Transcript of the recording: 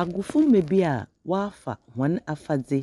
Agofomba bi a wɔafa hɔn afadze